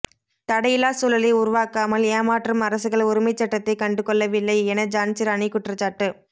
தடையில்லா சூழலை உருவாக்காமல் ஏமாற்றும் அரசுகள் உரிமைச்சட்டத்தை கண்டுகொள்ளவில்லை என ஜான்சிராணி குற்றச்சாட்டு